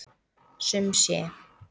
Sum sé.